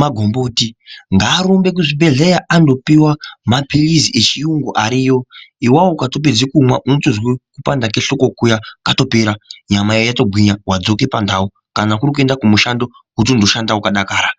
magomboti ngarumne kuzvibhehleya andopiwa mapilizi echiyungu ariyo awawo kukayopedza kumamwa unotonzwa kupanda kwehlonko kuyanyama yotogwinya watodzoka pandau kana kurikuenda kumushando wotondoshanda wakadakara.